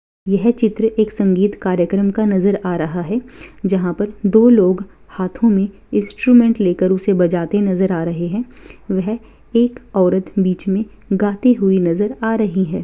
यह चित्र एक संगीत कार्यक्रम का नजर आ रहा है जहाँ पर दो लोग हाथों में इंस्ट्रूमेंट लेकर उसे बजाते नजर आ रहे हैं वह एक औरत बीच में गाती हुयी नजर आ रही हैं।